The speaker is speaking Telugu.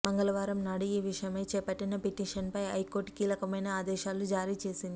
మంగళవారం నాడు ఈ విషయమై చేపట్టిన పిటిషన్ పై హైకోర్టు కీలకమైన ఆదేశాలు జారీ చేసింది